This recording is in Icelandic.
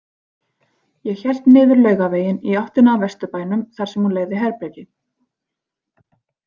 Ég hélt niður Laugaveginn í áttina að Vesturbænum þar sem hún leigði herbergi.